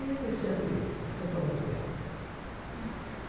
E sempre sempre foi muito bem. Tá.